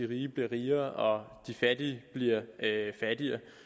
rige bliver rigere og de fattige bliver fattigere